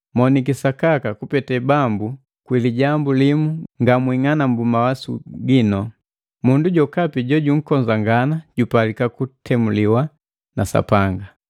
Maniki sakaka kupete Bambu kwi lijambu limu ngamwing'alambwiki mawasu ginu. Mundu jokapi jojunkonzagana jupalika kutemuliwa na Sapanga.